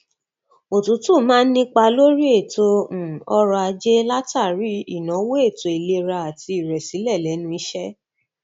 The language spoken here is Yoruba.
òtútù máa ń ní ipa lórí ètò um ọrọajé látàrí ìnáwó ètò ìlera àti ìrẹsílẹ lẹnu iṣẹ